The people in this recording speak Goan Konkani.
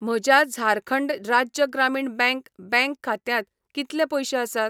म्हज्या झारखंड राज्य ग्रामीण बँक बँक खात्यांत कितले पयशे आसात?